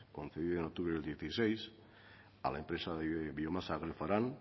concedida en octubre del dieciséis a la empresa biomasa glefaran